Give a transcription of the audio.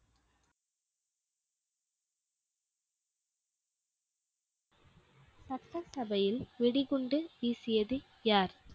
சட்டசபையில் வெடிகுண்டு வீசியது யார்?